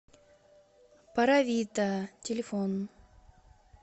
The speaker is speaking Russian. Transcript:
паравитта телефон